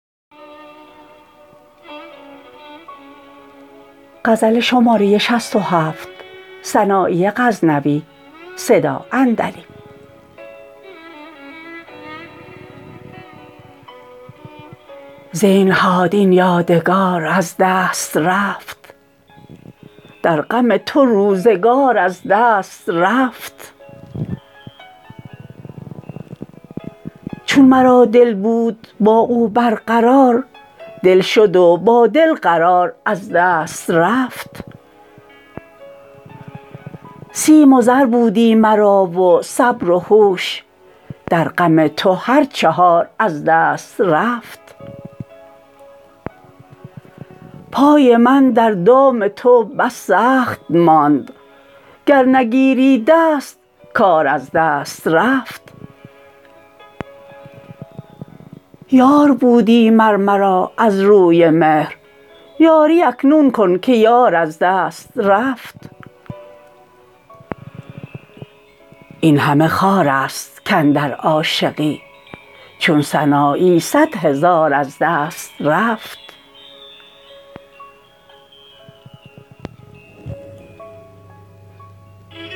زینهار این یادگار از دست رفت در غم تو روزگار از دست رفت چون مرا دل بود با او برقرار دل شد و با دل قرار از دست رفت سیم و زر بودی مرا و صبر و هوش در غم تو هر چهار از دست رفت پای من در دام تو بس سخت ماند گر نگیری دست کار از دست رفت یار بودی مر مرا از روی مهر یاری اکنون کن که یار از دست رفت اینهمه خوار است کاندر عاشقی چون سنایی صدهزار از دست رفت